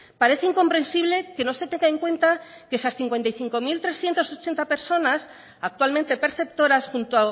parece incompresible que no se tenga en cuenta que esas cincuenta y cinco mil trescientos ochenta personas actualmente perceptoras junto